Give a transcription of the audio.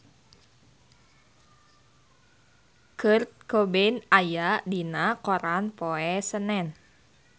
Kurt Cobain aya dina koran poe Senen